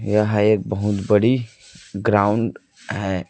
यहां एक बहोत बड़ी ग्राउंड है।